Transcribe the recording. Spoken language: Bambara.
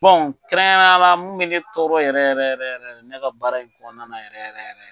kɛrɛnkɛrɛnyala mun bɛ ne tɔɔrɔ yɛrɛ yɛrɛ yɛrɛ yɛrɛ ne ka baara in kɔnɔna na yɛrɛ yɛrɛ.